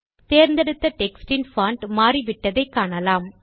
தேர்ந்தெடுத்த டெக்ஸ்ட் இன் பான்ட் மாறிவிட்டதை காணலாம்